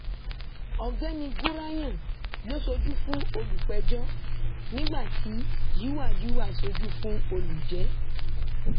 ọgbẹni gúráyẹn ló ṣojú fún olùpẹjọ nígbà tí yuwa yuwa ṣojú fún olùjẹ